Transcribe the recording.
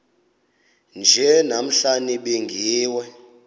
nje namhla nibingiwe